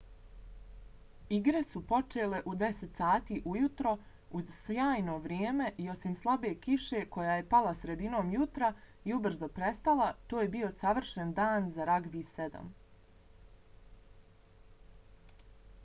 igre su počele u 10:00 sati ujutru uz sjajno vrijeme i osim slabe kiše koja je pala sredinom jutra i ubrzo prestala to je bio savršen dan za ragbi 7